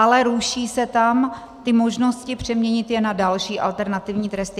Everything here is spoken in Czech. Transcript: Ale ruší se tam ty možnosti přeměnit je na další alternativní tresty.